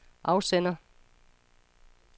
afsender